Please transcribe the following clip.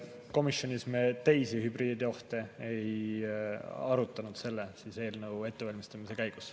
Komisjonis me teisi hübriidohte ei arutanud selle eelnõu ettevalmistamise käigus.